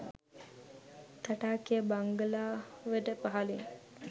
තටාකය බංගලාවට පහළින්